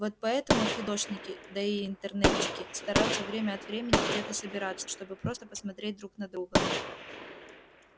вот поэтому фидошники да и интернетчики стараются время от времени где-то собираться чтобы просто посмотреть друг на друга